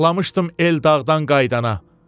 Saxlamışdım Eldağdan qayıdana.